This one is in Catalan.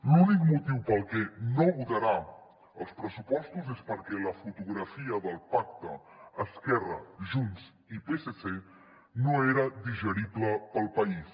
l’únic motiu pel que no votarà els pressupostos és perquè la fotografia del pacte esquerra junts i psc no era digerible per al país